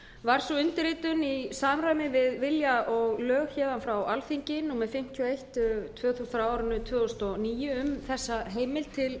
var sú undirritun í samræmi við vilja og lög héðan frá númer fimmtíu og eitt tvö þúsund og níu um þessa heimild til